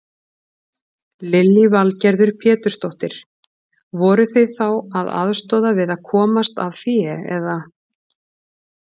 Lillý Valgerður Pétursdóttir: Voruð þið þá að aðstoða við að komast að fé eða?